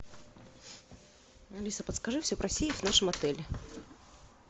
алиса подскажи все про сейф в нашем отеле